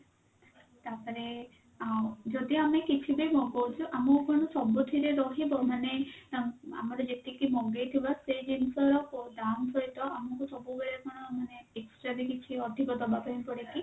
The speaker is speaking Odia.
ତାପରେ ଆଉ ଯଦି ଆମେ କିଛି ବି ନ କରୁଛୁ ଆମ ଉପରେ ସବୁଥିରେ ରହିବ ମାନେ ତାଙ୍କ ଆମର ଯେତିକି ମଗେଇଥିବା ସେ ଜିନିଷ ଦାମ୍ ସହିତ ଆମକୁ ସବୁବେଳେ କଣ ମାନେ extra ରେ କିଛି ଅଧିକ ଦବା ପାଇଁ ପଡେ କି?